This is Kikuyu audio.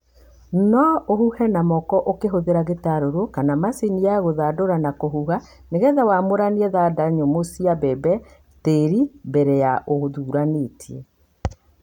No ũhuhe na moko ũkĩhũthĩra gĩtarũrũ kana macini ya gũthandũra na kũhuha, nĩ getha wamũranie thanda nyũmũ cia mbembe na tĩri mbere ya ũthuranĩtie.